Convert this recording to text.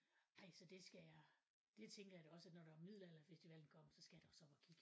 Ej så det skal jeg det tænker jeg da også at når der er middelalderfestival engang så skal jeg da også lige op og kigge